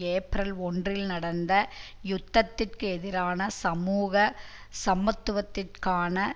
April ஒன்றில் நடந்த யுத்தத்திற்கு எதிரான சமூக சமத்துவத்திற்கான